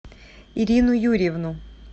ирину юрьевну